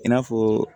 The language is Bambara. I n'a fɔ